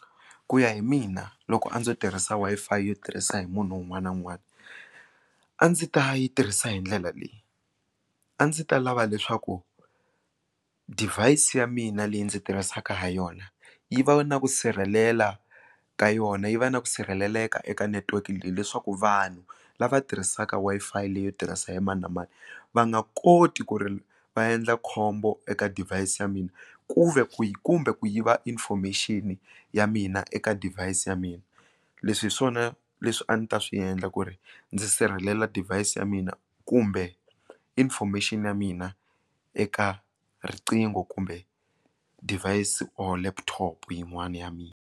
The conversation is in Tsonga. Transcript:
ku ya hi mina loko a ndzo tirhisa wi-fi yo tirhisa hi munhu un'wana na un'wana a ndzi ta yi tirhisa hi ndlela leyi a ndzi ta lava leswaku device ya mina leyi ndzi tirhisaka ha yona yi va na ku sirhelela ka yona yi va na ku sirheleleka eka network leyi leswaku vanhu lava tirhisaka wi-fi leyi yo tirhisa hi mani na mani va nga koti ku ri va endla khombo eka device ya mina ku ve ku yi kumbe ku yiva information ya mina eka device ya mina leswi hi swona leswi a ndzi ta swi endla ku ri ndzi sirhelela device ya mina kumbe information ya mina eka riqingho kumbe device or laptop yin'wana ya mina.